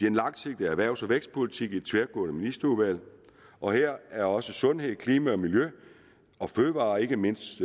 en langsigtet erhvervs og vækstpolitik i et tværgående ministerudvalg og her er også sundhed klima miljø fødevarer og ikke mindst